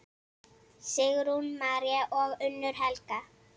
Sigrún María og Unnur Helga.